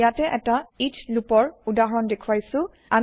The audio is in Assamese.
মই ইয়াতে এটা ইচ্চ লুপৰ উদাহৰণ দেখুৱাইছো